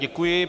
Děkuji.